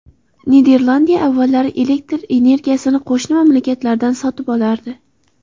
Niderlandiya avvallari elektr energiyasini qo‘shni mamlakatlardan sotib olardi.